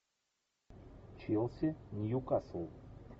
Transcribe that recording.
челси ньюкасл